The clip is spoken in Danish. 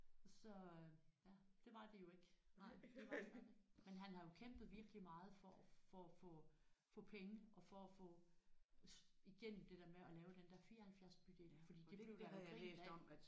Så øh ja det var de jo ikke nej de var der stadig men han har jo kæmpet virkelig meget for at for at få få penge og for at få igennem det der med at få lavet den der 74 bydel fordi det blev der jo grint af